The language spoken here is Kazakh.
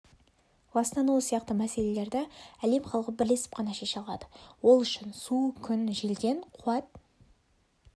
ластануы сияқты мәселелерді әлем халқы бірлесіп қана шеше алады ол үшін су күн желден қуат